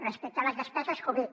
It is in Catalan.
respecte a les despeses covid